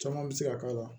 Caman bɛ se ka k'a la